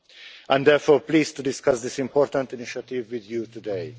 I am therefore pleased to discuss this important initiative with you today.